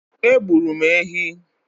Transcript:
Egburu m ehi.